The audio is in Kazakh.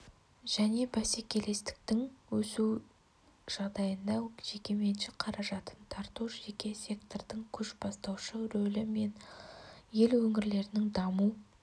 және бәсекелестіктің өсуі жағдайында жекеменшік қаражатын тарту жеке сектордың көшбастаушы рөлі мен ел өңірлерінің даму